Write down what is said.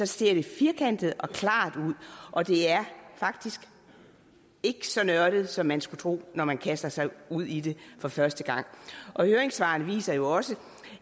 ser firkantet og klart ud og det er faktisk ikke så nørdet som man skulle tro når man kaster sig ud i det for første gang høringssvarene viser jo også